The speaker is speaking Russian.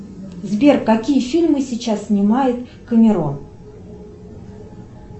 сбер какие фильмы сейчас снимает камерон